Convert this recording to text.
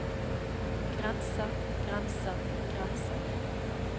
grenser grenser grenser